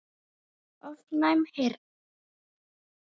ofnæm heyrn